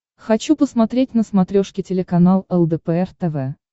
хочу посмотреть на смотрешке телеканал лдпр тв